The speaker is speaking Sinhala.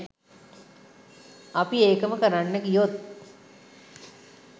අපි ඒකම කරන්න ගියොත්